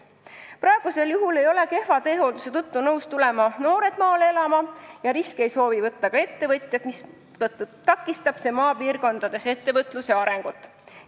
Praegusel juhul ei ole noored nõus kehva teehoolduse tõttu maale elama tulema ja riske ei soovi võtta ka ettevõtjad, mistõttu on maapiirkondades ettevõtluse areng takistatud.